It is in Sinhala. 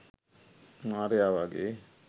මාරයා වගේ